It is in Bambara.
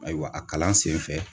Ayiwa a kalan sen fɛ